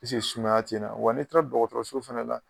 sumaya ti n na, wa ni taara dɔgɔtɔrɔso fana la.